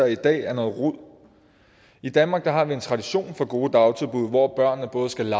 i dag er noget rod i danmark har vi en tradition for gode dagtilbud hvor børnene både skal